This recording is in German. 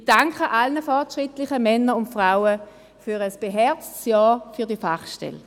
Ich danke allen fortschrittlichen Männern und Frauen für ein beherztes Ja zu dieser Fachstelle.